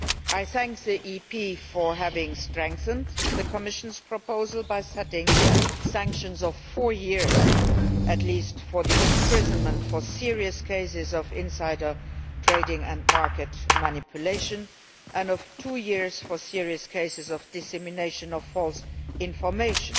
I thank Parliament for having strengthened the Commission's proposal by setting sanctions of four years at least for imprisonment in serious cases of insider trading and market manipulation, and of two years for serious cases of dissemination of false information.